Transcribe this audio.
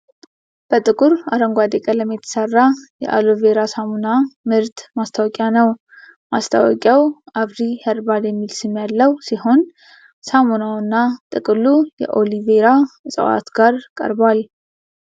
በጥቁር አረንጓዴ ቀለም የተሰራ የአሎ ቬራ ሳሙና ምርት ማስታወቂያ ነው። ማስታወቂያው "አፍሪ ሄርባል" የሚል ስም ያለው ሲሆን፣ ሳሙናውና ጥቅሉ ከኦሊ ቬራ እጽዋት ጋር ቀርቧል።